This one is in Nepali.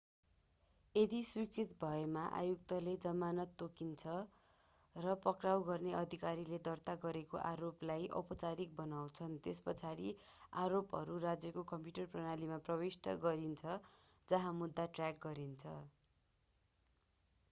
यदि स्वीकृत भएमा आयुक्तले जमानत तोक्छन् र पक्राउ गर्ने अधिकारीले दर्ता गरेको आरोपलाई औपचारिक बनाउँछन् त्यसपछि आरोपहरू राज्यको कम्प्युटर प्रणालीमा प्रविष्ट गरिन्छ जहाँ मुद्दा ट्र्याक गरिन्छ